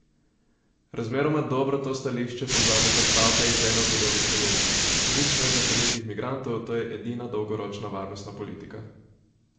Razmeroma dobro to stališče povzameta stavka iz ene od njegovih kolumn: "Nič nezakonitih migrantov, to je edina dolgoročna varnostna politika.